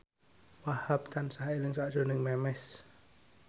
Wahhab tansah eling sakjroning Memes